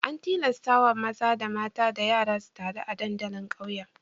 An tilastawa maza da mata da yara su taru a dandalin ƙauyen.